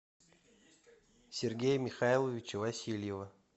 сергея михайловича васильева